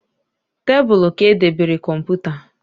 Tabulu ka e debere kọmputa